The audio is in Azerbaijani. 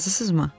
Razısınızmı?"